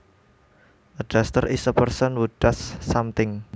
A duster is a person who dusts something